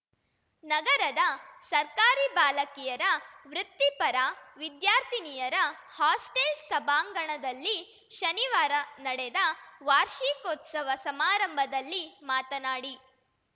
ನಗರದ ಸರ್ಕಾರಿ ಬಾಲಕಿಯರ ವೃತ್ತಿಪರ ವಿದ್ಯಾರ್ಥಿನಿಯರ ಹಾಸ್ಟೆಲ್‌ ಸಭಾಂಗಣದಲ್ಲಿ ಶನಿವಾರ ನಡೆದ ವಾರ್ಷಿಕೋತ್ಸವ ಸಮಾರಂಭದಲ್ಲಿ ಮಾತನಾಡಿ